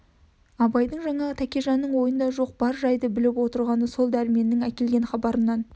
абайдың жаңағы тәкежанның ойында жоқ бар жайды біліп отырғаны сол дәрменнің әкелген хабарынан